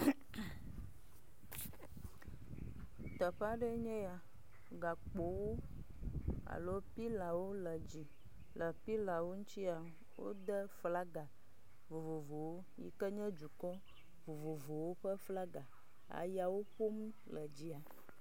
Teƒe aɖe nye ya, gakpowo alo pilawo le dzi, le pilawo ŋutia, wode flaga vovovowo yike nye dukɔ vovovowo ƒe flaga, Ayawo ƒom le dzi.